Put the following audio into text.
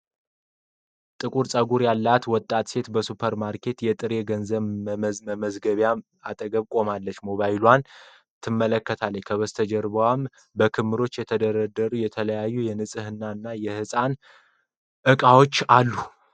ጥቁር ጸጉር ያላት ወጣት ሴት በሱፐርማርኬት የጥሬ ገንዘብ መመዝገቢያ አጠገብ ቆማ፣ ሞባይሏን ትመለከታለች። ከበስተጀርባ በክምችት የተደረደሩ የተለያዩ የንጽህና እና የህፃናት እቃዎች አሉ።